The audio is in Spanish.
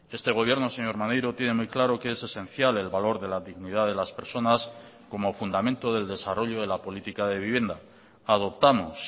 este gobierno señor maneiro tiene muy claro que es esencial el valor de la dignidad de las personas como fundamento del desarrollo de la política de vivienda adoptamos